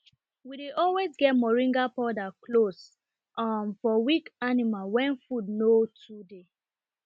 we dey always get moringa powder close um for weak animal when food no too dey